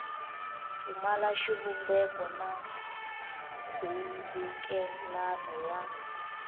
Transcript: pfumala xivumbeko na nkhulukelano wa